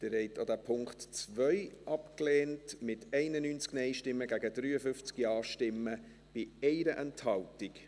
Sie haben auch den Punkt 2 abgelehnt, mit 91 Nein- gegen 53 Ja-Stimmen bei 1 Enthaltung.